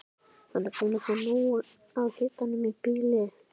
Hann er búinn að fá nóg af hitanum í bili.